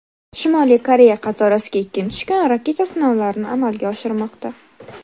Shimoliy Koreya qatorasiga ikkinchi kun raketa sinovlarini amalga oshirmoqda.